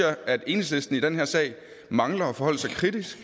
at enhedslisten i den her sag mangler at forholde sig kritisk